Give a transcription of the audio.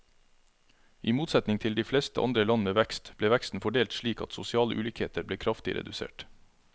I motsetning til de fleste andre land med vekst, ble veksten fordelt slik at sosiale ulikheter ble kraftig redusert.